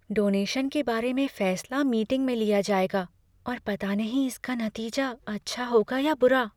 Donation के बारे में फैसला मीटिंग में लिया जाएगा और पता नहीं इसका नतीजा अच्छा होगा या बुरा।